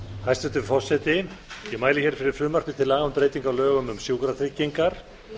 hæstvirtur forseti ég mæli fyrir frumvarpi til laga um breytingu á lögum um sjúkratryggingar